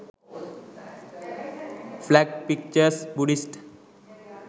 flag pictures buddihst